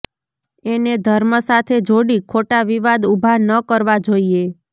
એને ધર્મ સાથે જોડી ખોટા વિવાદ ઊભા ન કરવા જોઈએ